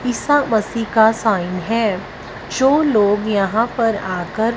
ईसा मसीह का साइन है जो लोग यहां पर आ कर--